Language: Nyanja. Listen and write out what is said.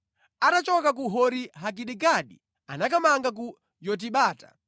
Atachoka ku Hori-Hagidigadi anakamanga ku Yotibata.